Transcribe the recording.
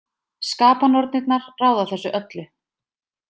Skapanornirnar ráða þessu öllu.